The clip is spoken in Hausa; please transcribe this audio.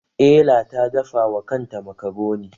Ela ta dafa wa kakanta makaroni.